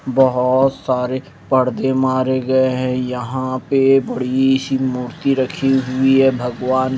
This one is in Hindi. बहुत सारे पर्दे मारे गए हैं यहां पे बड़ी सी मूर्ति रखी हुई है भगवान--